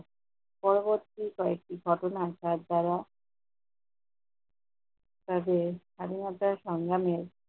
পরবর্তী কয়েকটি ঘটনা তার দ্বারা, তাকে স্বাধীনতা সংগ্রামের